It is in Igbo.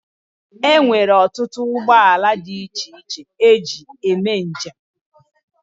Enwere ọtụtụ ụgbọ ala dị iche iche eji ebu njem.